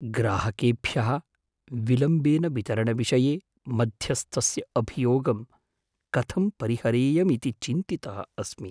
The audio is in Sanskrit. ग्राहकेभ्यः विलम्बेन वितरणविषये मध्यस्थस्य अभियोगं कथं परिहरेयमिति चिन्तितः अस्मि।